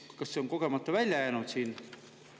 Kas see on kogemata välja jäänud siit?